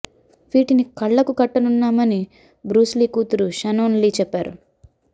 వీటిని కళ్ళకు కట్టనున్నామని బ్రూస్ లీ కూతురు షనోన్ లీ చెప్పారు